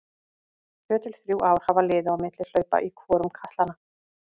Tvö til þrjú ár hafa liðið á milli hlaupa í hvorum katlanna.